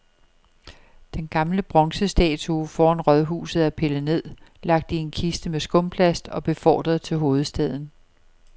Den gamle bronzestatue foran rådhuset er pillet ned, lagt i en kiste med skumplast og befordret til hovedstaden.